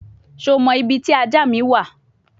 Şho mo ibi ti aja mi wa?